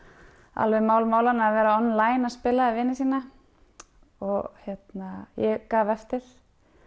alveg mál málanna að vera online að spila við vini sína ég gaf eftir